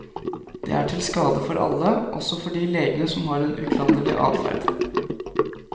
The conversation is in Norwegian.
Det er til skade for alle, også for de legene som har en uklanderlig adferd.